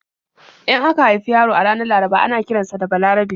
In aka haifi yaro a ranar Laraba ana kiran sa da 'Balarabe'.